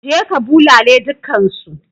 Je ka bulale dukkansu!